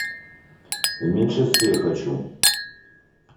в меньшинстве хочу